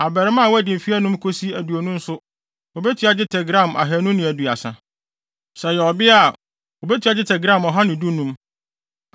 abarimaa a wadi mfe anum kosi aduonu no nso wobetua dwetɛ gram ahannu ne aduasa (230). Sɛ ɔyɛ ɔbea a, wobetua dwetɛ gram ɔha ne dunum (115).